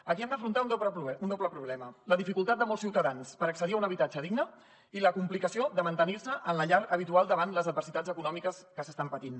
aquí hem d’afrontar un doble problema la dificultat de molts ciutadans per accedir a un habitatge digne i la complicació de mantenir se en la llar habitual davant les adversitats econòmiques que s’estan patint